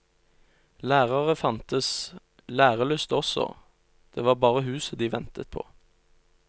Lærere fantes, lærelyst også, det var bare huset de ventet på.